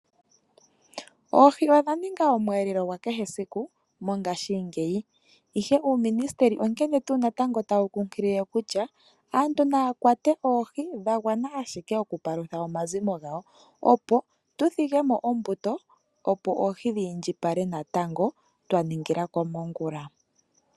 Oohi odha ninga omwelelelo gwakehe esiku mongashingeyi ,ihe Uuministeli onkene tuu natango tawu kunkilile okutya aantu naya kwate oohi dhagwana ashike okupalutha omazimo gawo, opo tudhige mo ombuto opo oohi dhiindjipale natango twaningila komongula.